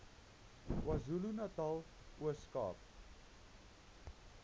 kwazulunatal ooskaap